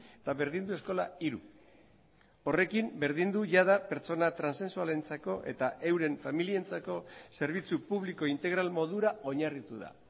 eta berdindu eskola hiru horrekin berdindu jada pertsona transexualentzako eta euren familientzako zerbitzu publiko integral modura oinarritu da